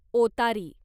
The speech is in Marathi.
ओतारी